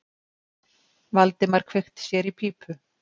Valdimar kveikti sér í pípu.